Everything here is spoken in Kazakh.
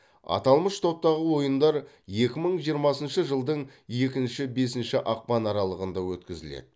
аталмыш топтағы ойындар екі мың жиырмасыншы жылдың екінші бесінші ақпан аралығында өткізіледі